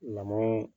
Lamɔ in